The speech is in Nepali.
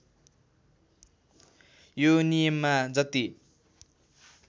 यो नियममा जति